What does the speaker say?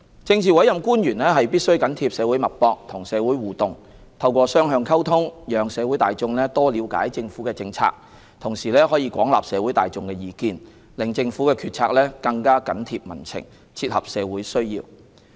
政治委任官員必須緊貼社會脈搏、與社會互動，透過雙向溝通，讓社會大眾多了解政府的政策，同時可廣納社會大眾的意見，令政府決策更緊貼民情、切合社會需要。